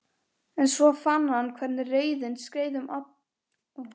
En svo fann hann hvernig reiðin skreið um hann allan.